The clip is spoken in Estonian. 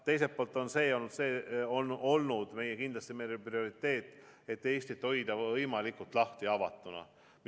Teiselt poolt on olnud kindlasti meie prioriteet hoida Eestit võimalikult avatuna.